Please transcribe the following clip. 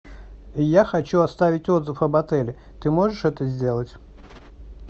я хочу оставить отзыв об отеле ты можешь это сделать